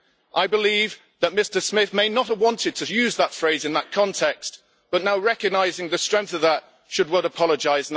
I believe that Mr Smith may not have wanted to use that phrase in that context, but now recognising the strength of that, he should apologise.